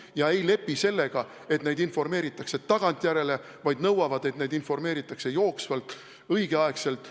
Nad ei lepi sellega, et neid informeeritakse tagantjärele, vaid nõuavad, et neid informeeritakse jooksvalt, õigeaegselt.